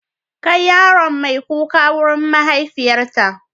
Kai yaron mai kuka wurin mahaifiyarta.